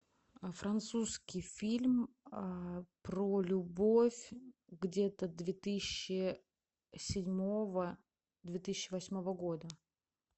французский фильм про любовь где то две тысячи седьмого две тысячи восьмого года